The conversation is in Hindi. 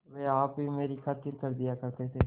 वे आप ही मेरी खातिर कर दिया करते थे